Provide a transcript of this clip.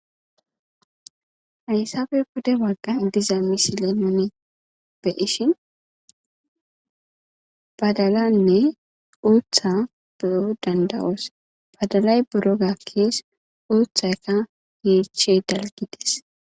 Hayssappe pude bagan diza misile nuni be'ishin badalan e uutha beyo danadyos, badalay buro gakes uuthayka yeechey daraqides